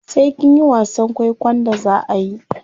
Sai kinyi wasan kwaikwon da zaa ayi.